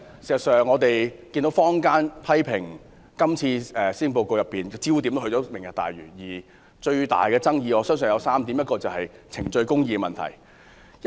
事實上，我們看到坊間批評施政報告的焦點也是"明日大嶼"，而最大的爭議我相信涉及3個問題。